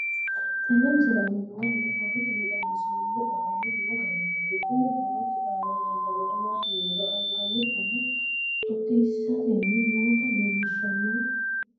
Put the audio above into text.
Tenne misile aana noore borroteni xawiseemohu aane noo gariniiti. Kunni borrote aana leelanori maati yiniro Anganna buna xooxiisitanni noita leelishshanno.